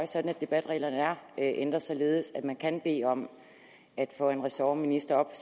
sådan at debatreglerne er ændret således at man kan bede om at få en ressortminister op